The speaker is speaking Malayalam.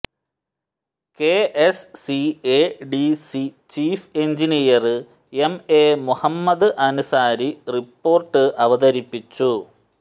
K S CADC chief engineer M A Muhammad Ansari report അവതരിപ്പിച്ചു